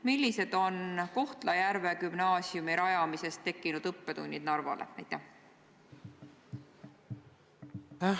Millised on Kohtla-Järve gümnaasiumi rajamisest tekkinud õppetunnid Narvale?